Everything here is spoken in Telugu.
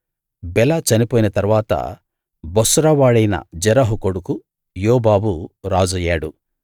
బెల చనిపోయిన తరువాత బొస్రావాడైన జెరహు కొడుకు యోబాబు రాజయ్యాడు